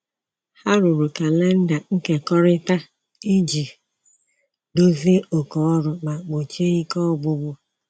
Ha rụrụ kalenda nkekọrịta iji dozie oké ọrụ ma gbochie ike ọgwụgwụ